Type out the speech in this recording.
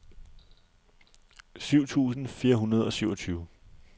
syv tusind fire hundrede og syvogtyve